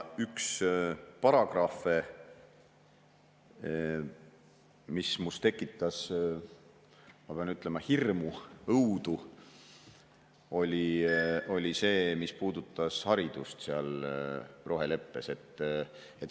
Üks paragrahve, mis tekitas minus, ma pean ütlema, hirmu ja õudu, oli see, mis puudutas haridust seal roheleppes.